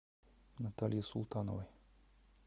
натальей султановой